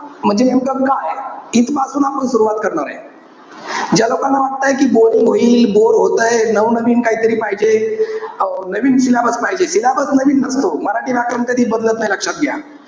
म्हणजे नेमकं काय? इथपासुन आपण सुरवात करणारे. ज्या लोकांना वाटतंय कि boring होईल. Bore होतंय. नवनवीन काहीतरी पाहिजे. अं नवीन syllabus पाहिजे. Syllabus नवीन नसतो. मराठी व्याकरण कधीच बदलत नाही, लक्षात घ्या.